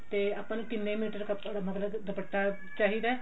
ਤੇ ਆਪਾਂ ਨੂੰ ਕਿੰਨੇ ਮੀਟਰ ਕਪੜਾ ਮਤਲਬ ਦੁਪੱਟਾ ਚਾਹਿਦਾ